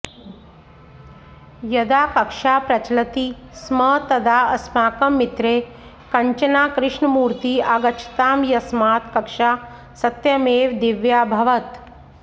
यदा कक्षा प्रचलति स्म तदा अस्माकं मित्रे कञ्चनाकृष्णमूर्ती आगच्छताम् यस्मात् कक्षा सत्यमेव दिव्याभवत्